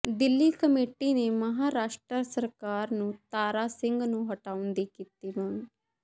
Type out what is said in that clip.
Delhi committee ਨੇ ਮਹਾਰਾਸ਼ਟਰ ਸਰਕਾਰ ਨੂੰ ਤਾਰਾ ਸਿੰਘ ਨੂੰ ਹਟਾਉਣ ਦੀ ਕੀਤੀ ਮੰਗ